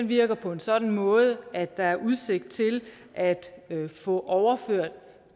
virker på en sådan måde at der er udsigt til at få overført